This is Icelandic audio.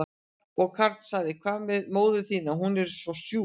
Og Karl sagði, hvað með móður þína, hún er svo sjúk?